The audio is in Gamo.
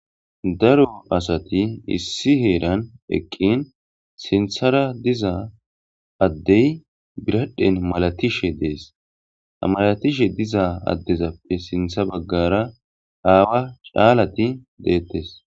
Daro asati issi heeran eqqin sinthara diza addey biradhen malatishe dees malatishe diza addezappe sintha baggara aawa caalati deettes.